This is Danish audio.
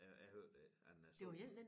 Øh jeg hørte det ikke han er sådan